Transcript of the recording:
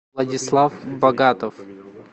владислав богатов